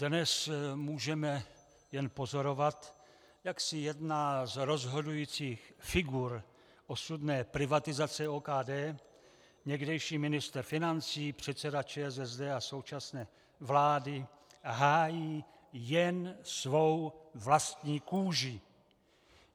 Dnes můžeme jen pozorovat, jak si jedna z rozhodujících figur osudné privatizace OKD, někdejší ministr financí, předseda ČSSD a současné vlády, hájí jen svou vlastní kůži.